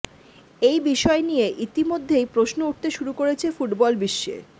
এই বিষয় নিয়ে ইতিমধ্যেই প্রশ্ন উঠতে শুরু করেছে ফুটবল বিশ্বে